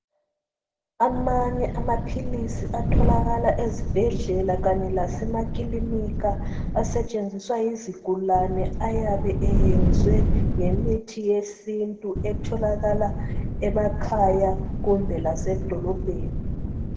Amanye amaphilisi atholakala ezibhedlela kanye lasemakilinika asetshenziswa yizigulane ayabe eyenzwe ngemithi yesintu etholakala emakhaya kumbe lasedolobheni.